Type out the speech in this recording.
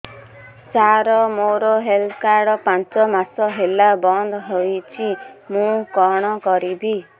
ସାର ମୋର health card ପାଞ୍ଚ ମାସ ହେଲା ବଂଦ ହୋଇଛି ମୁଁ କଣ କରିବି